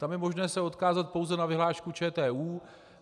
Tam je možné se odkázat pouze na vyhlášku ČTÚ.